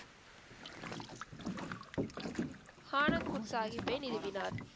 ஆனந்த்பூர் சாஹிப்பை நிறுவினர்.